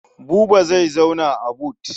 Buba zai zauna a but.